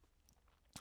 DR K